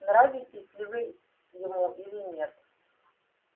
нравитесь ли вы ему или нет